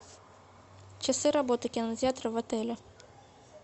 часы работы кинотеатра в отеле